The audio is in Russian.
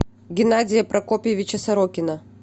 геннадия прокопьевича сорокина